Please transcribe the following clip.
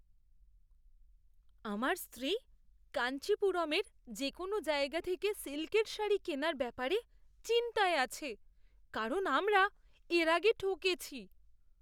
আমার স্ত্রী কাঞ্চিপুরমের যে কোনও জায়গা থেকে সিল্কের শাড়ি কেনার ব্যাপারে চিন্তায় আছে, কারণ আমরা এর আগে ঠকেছি।